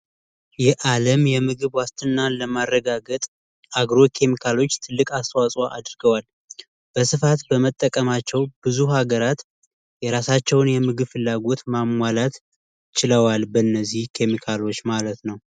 የአለም የምግብ ዋስትና ለማረጋገጥ አግሮ ኪሚካሎች ትልቅ አስተዋጽኦ አድርገዋል። በስፋት በመጠቀማቸው ብዙ ሀገራት የራሳቸዉን የምግብ ፍላጎት ማሟላት ችለዋል በእነዚህ ኪሚካሎች ማለት ነዉ።